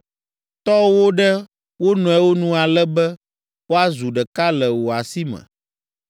Tɔ wo ɖe wo nɔewo nu ale be woazu ɖeka le wò asi me.